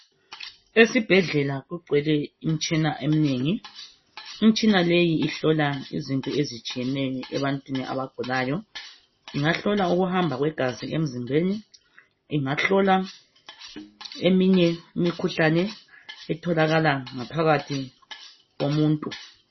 Esibhedlela kugcwele imitshina emnengi, imtshina leyi ihlola izinto ezitshiyeneyo ebantwini abagulayo ingahlola ukuhamba kwegazi emzimbeni ingahlola eminye imkhuhlane etholakala ngaphakathi komuntu.